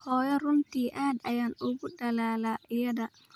Hooyo, runtii aad ayaan ugu dadhalaa iyada